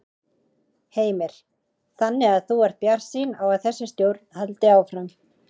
Heimir: Þannig að þú ert bjartsýn á að þessi stjórn haldi áfram?